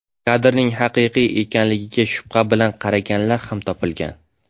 Kadrning haqiqiy ekanligiga shubha bilan qaraganlar ham topilgan.